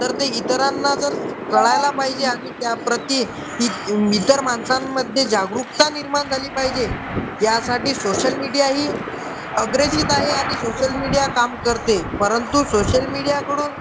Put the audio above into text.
तर ते इतरांना जर कळायला पाहिजे आणि त्या प्रति इतर माणसांमध्ये जागरूकता निर्माण झाली पाहिजे यासाठी सोशल मीडिया ही आहे आणि सोशल मीडिया काम करते परंतु सोशल मीडिया कडून